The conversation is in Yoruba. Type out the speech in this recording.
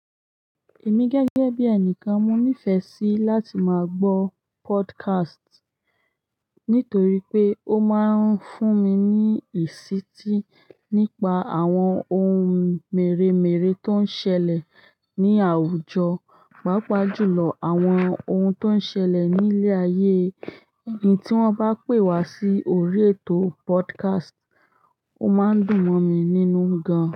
Èmi gẹ́gẹ́ bí ẹnìkan, mo nífẹ̀ẹ́ sí láti máa gbọ́ podcast nítorí pé ó máa ń fún mi ní ìsítí nípa àwọn ohun mèremère tó ń ṣẹlẹ̀ ní àwùjọ, pàápàá jùlọ àwọn ohun tó ń ṣẹlẹ̀ ní ilé ayé. Ìhn tí wọ́n bá pè wá sí orí ètò podcast, ó máa ń dùn mọ̀ mi nínú gan.